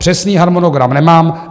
Přesný harmonogram nemám.